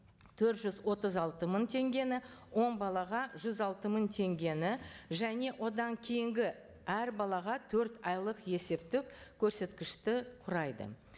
төрт жүз отыз алты мың теңгені он балаға жүз алты мың теңгені және одан кейінгі әр балаға төрт айлық есептік көрсеткішті құрайды